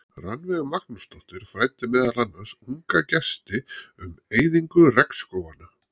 Rannveig Magnúsdóttir fræddi meðal annars unga gesti um eyðingu regnskóganna.